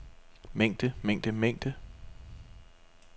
mængde mængde mængde